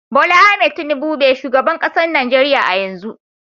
Bola Ahmed Tinubu be shugaban kasan Nijeriya a'yanzu.